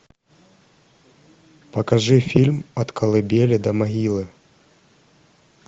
покажи фильм от колыбели до могилы